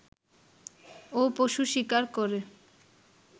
ও পশু শিকার করে